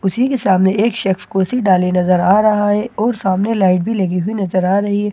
उसी की सामने एक शेफ को कुर्सी डाली नजर आ रहा है और सामने लाइट भी लगी हुए नजर रही है और ये बिजली--